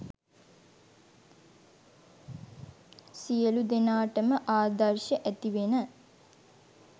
සියලු දෙනාටම ආදර්ශ ඇතිවෙන